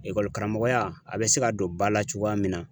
karamɔgɔya a bɛ se ka don ba la cogoya min na.